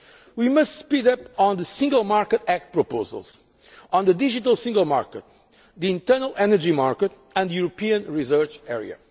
too slow. We must speed up work on the Single Market Act proposals, on the digital single market, the internal energy market and the European research